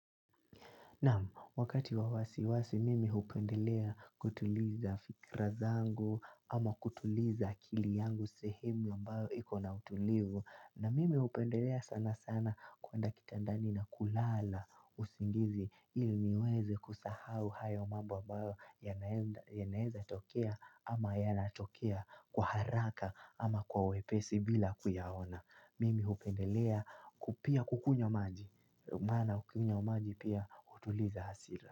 Namu, wakati wa wasiwasi mimi hupendelea kutuliza fikra zangu ama kutuliza akili yangu sehemu ambayo iko na utulivu na mimi hupendelea sana sana kuenda kitandani na kulala usingizi il niweze kusahau hayo mambo ambayo yanaenda yanaeza tokea ama yanatokea kwa haraka ama kwa wepesi bila kuyaona. Mimi hupendelea pia kukunywa maji Maana ukinywa maji pia hutuliza hasira.